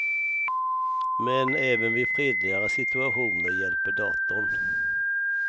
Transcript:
Men även vid fredligare situationer hjälper datorn.